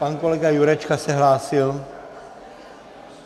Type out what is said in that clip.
Pan kolega Jurečka se hlásil?